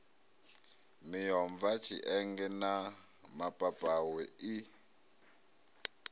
miomva tshienge na mapapawe i